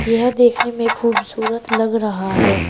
यह देखने में खूबसूरत लग रहा है।